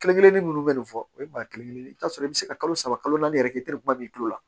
Kelen kelennin munnu bɛ nin fɔ o ye maa kelen-kelen i bɛ t'a sɔrɔ i bɛ se ka kalo saba kalo naani yɛrɛ kɛ i tɛ kuma min ko la